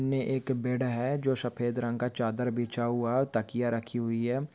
ने एक बेड है जो सफ़ेद रंग का चादर बिच्छा हुआ तकिय्या रखी हुई है।